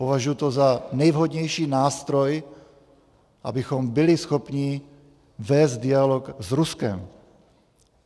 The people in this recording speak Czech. Považuji to za nejvhodnější nástroj, abychom byli schopni vést dialog s Ruskem.